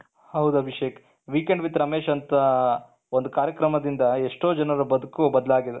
ಹೌದು Abhishek Weekend with Ramesh ಅಂತ ಒಂದು ಕಾರ್ಯಕ್ರಮದಿಂದ ಎಷ್ಟೊಂದು ಜನರ ಬದುಕು ಬದಲಾಗಿದೆ.